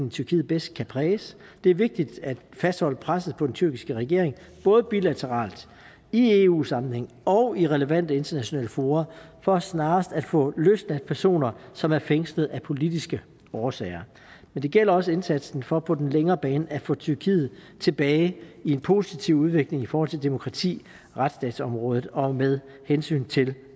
i tyrkiet bedst kan præges det er vigtigt at fastholde presset på den tyrkiske regering både bilateralt i eu sammenhæng og i relevante internationale fora for snarest at få løsladt personer som er fængslet af politiske årsager men det gælder også indsatsen for på den længere bane at få tyrkiet tilbage i en positiv udvikling i forhold til demokrati retsstatsområdet og med hensyn til